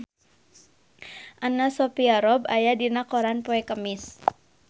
Anna Sophia Robb aya dina koran poe Kemis